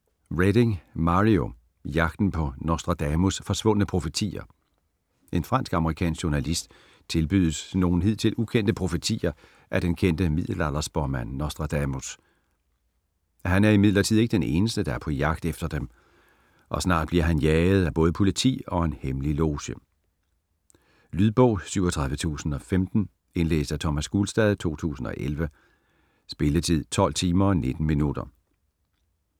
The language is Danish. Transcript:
Reading, Mario: Jagten på Nostradamus' forsvundne profetier En fransk/amerikansk journalist tilbydes nogle hidtil ukendte profetier af den kendte middelalderspåmand Nostradamus. Han er imidlertid ikke den eneste, der er på jagt efter dem, og snart bliver han jaget af både politi og en hemmelig loge. Lydbog 37015 Indlæst af Thomas Gulstad, 2011. Spilletid: 12 timer, 19 minutter.